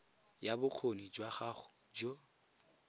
ya bokgoni jwa gago jo